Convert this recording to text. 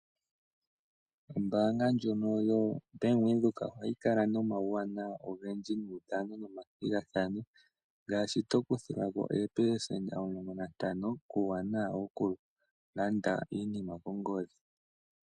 Ombaanga ndjono yoBank Windhoek ohayi kala nomauwanawa ogendji guudhano nomathigathano ngaashi, tokuthilwa ko oopelesenta omulongo nantano kuuwanawa wokulanda iinima kongodhi.